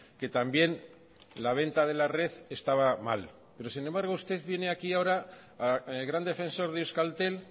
que también la venta de la red estaba mal pero sin embargo usted viene aquí ahora gran defensor de euskaltel